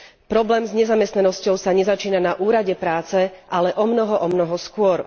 Problém s nezamestnanosťou sa nezačína na úrade prace, ale omnoho, omnoho skôr.